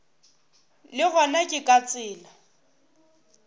le gona ke ka tsela